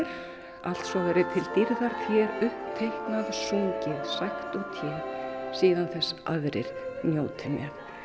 allt svo verði til dýrðar þér uppteiknað sungið sagt og té síðan þess aðrir njóti með